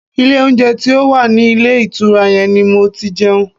Ilé oúnjẹ tí ó wà ní ilé ìtura yẹn ni mo ti jẹun.